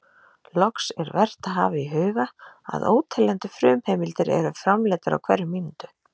Loks, er vert að hafa í huga að óteljandi frumheimildir eru framleiddar á hverri mínútu.